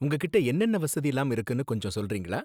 உங்ககிட்ட என்னென்ன வசதிலாம் இருக்குனு கொஞ்சம் சொல்றீங்களா?